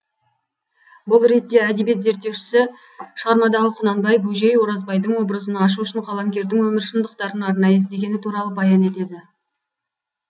бұл ретте әдебиет зерттеушісі шығармадағы құнанбай бөжей оразбайдың образын ашу үшін қаламгердің өмір шындықтарын арнайы іздегені туралы баян етеді